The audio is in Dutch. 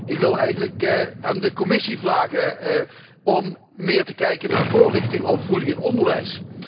Ik wil eigenlijk aan de Commissie vragen om meer te kijken naar voorlichting over voeding in het onderwijs.